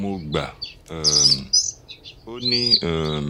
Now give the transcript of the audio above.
mo gbà um ọ́ ní um